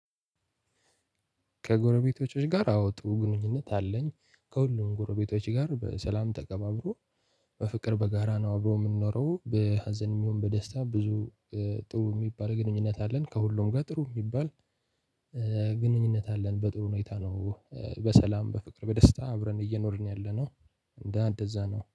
ከጎረቤቶቸ ጋር አወ ጥሩ ግንኙነት አለኝ ከሁሉም ጎረቤቶች ጋር በሰላም ተከባብሮ በፍቅር በጋራ ነው አብሮ የምንኖረው። በሀዘን የሚሆን በደስታ ብዙ ጥሩ የሚባል ግንኙነት አለን ከሁሉም ጋር ጥሩ የሚባል ግንኙነት አለን። በጥሩ ሁኔታ ነው። በሰላም በፍቅር በደስታ አብረን እየኖርን ያለነው እንደዛ ነው